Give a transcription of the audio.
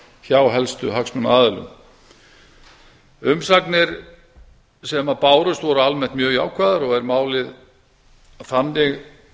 hjá helstu hagsmunaaðilum umsagnir sem bárust eru almennt mjög jákvæðar og er málið þannig